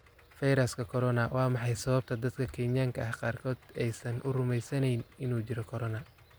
Fayraska Corona: Waa maxay sababta dadka Kenyaanka ah qaarkood aysan u rumaysnayn inuu jiro korona